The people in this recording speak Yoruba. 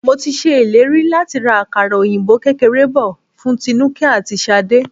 Mo ti ṣe ìlérí láti ra àkàrà òyìnbó kékeré bò fún Tinuke àti Ṣadé.